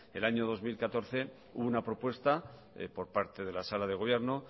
el año dos mil catorce hubo una propuesta por parte de la sala de gobierno